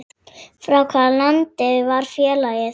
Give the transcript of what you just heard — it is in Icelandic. Frá hvaða landi var félagið?